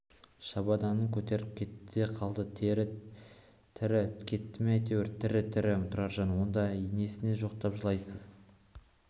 шабаданын көтеріп кетті де қалды тірі кетті ме әйтеуір тірі тірі тұраржан онда несіне жоқтап жылайсыз